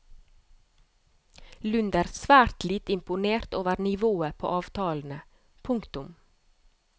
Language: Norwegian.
Lund er svært lite imponert over nivået på avtalene. punktum